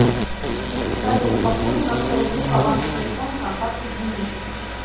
салют пополни на сто рублей баланс телефона контакта денис